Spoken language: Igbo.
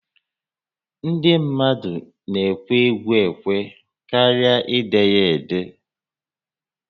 Ndị mmadụ ekwe égwú ékwé karịa ide ya édé